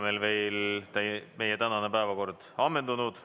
Sellega ei ole meie tänane päevakord veel ammendunud.